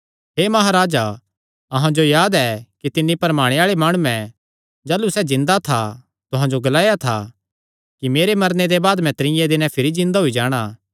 हे महाराजा अहां जो याद ऐ कि तिन्नी भरमाणे आल़ैं माणुयैं जाह़लू सैह़ जिन्दा था तुहां जो ग्लाया था कि मेरे मरने दे बाद मैं त्रीये दिने भिरी जिन्दा होई जाणा